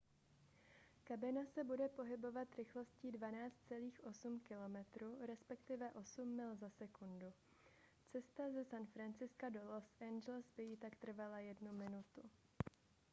kabina se bude pohybovat rychlostí 12.8 km respektive 8 mil za sekundu cesta ze san francisca do los angeles by jí tak trvala jednu minutu